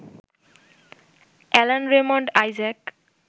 Alan Raymond Isaac